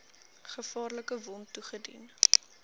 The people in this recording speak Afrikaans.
gevaarlike wond toegedien